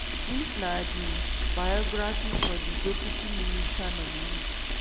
dis na di biographies for di deputy minister nominees.